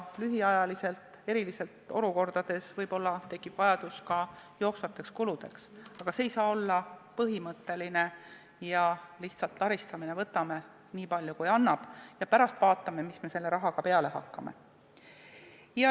Lühiajaliselt, erilistes olukordades võib-olla tekib vajadus ka jooksvate kulude katmiseks, aga see ei saa olla põhimõtteline ja lihtsalt laristamine, et võtame, nii palju kui antakse, ja pärast vaatame, mis me selle rahaga peale hakkame.